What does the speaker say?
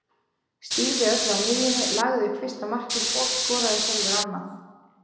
Stýrði öllu á miðjunni, lagði upp fyrsta markið og skoraði sjálfur annað.